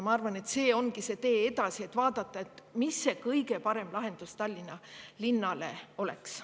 Ma arvan, et see ongi tee edasi: vaadata, mis see kõige parem lahendus Tallinna linnale oleks.